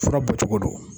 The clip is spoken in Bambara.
Fura bɔ cogo don